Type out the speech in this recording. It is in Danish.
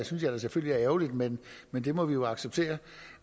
synes jeg selvfølgelig er ærgerligt men men det må vi jo acceptere